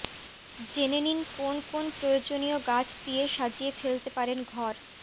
জেনে নিন কোন কোন প্রয়োজনীয় গাছ দিয়ে সাজিয়ে ফেলতে পারেন ঘর